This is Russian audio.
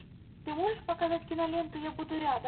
ты можешь показать киноленту я буду рядом